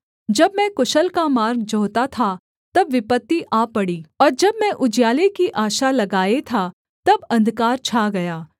जब मैं कुशल का मार्ग जोहता था तब विपत्ति आ पड़ी और जब मैं उजियाले की आशा लगाए था तब अंधकार छा गया